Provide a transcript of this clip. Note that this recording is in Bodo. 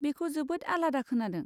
बेखौ जोबोद आलादा खोनादों।